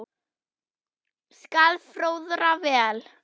skal fróðra hver